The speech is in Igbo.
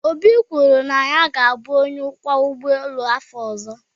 Obi kwuru na ya ga-abụ onye ọkwọ ụgbọ elu n'afọ ọzọ